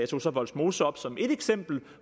tog vollsmose op som ét eksempel